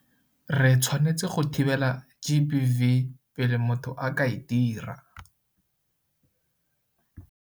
Re tshwanetse go thibela GBV pele motho a ka e dira.